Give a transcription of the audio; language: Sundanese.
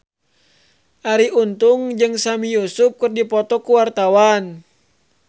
Arie Untung jeung Sami Yusuf keur dipoto ku wartawan